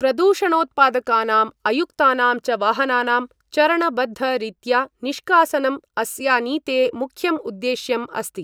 प्रदूषणोत्पादकानाम् अयुक्तानां च वाहनानां चरणबद्ध रीत्या निष्कासनम् अस्या नीते मुख्यम् उद्देश्यम् अस्ति।